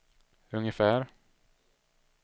ungefär